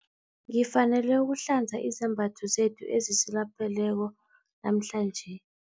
Ngifanele ukuhlanza izembatho zethu ezisilapheleko namhlanje.